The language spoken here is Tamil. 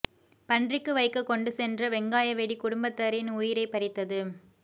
பன்றிக்கு வைக்க கொண்டு சென்ற வெங்காய வெடி குடும்பத்தரின் உயிரைப் பறித்தது